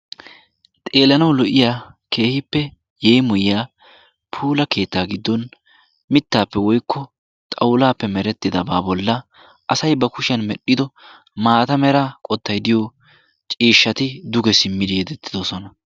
xeelanaw lo''iyaa keehippe yeemmoyiyaa mittappe woykko xawulappe meretidaba a bolla asay ba kushiyaappe medhdhido maata meray cishshati duge simmidi yedetidoosona.